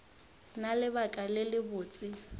na le lebaka le lebotse